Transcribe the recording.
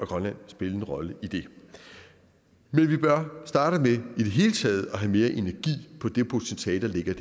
kunne spille en rolle i det men vi bør starte med i det hele taget at have mere energi på det potentiale der ligger